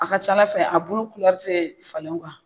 A ka c'Ala fɛ a bulu te falen .